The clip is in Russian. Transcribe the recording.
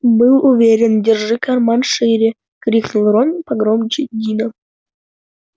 был уверен держи карман шире крикнул рон погромче дина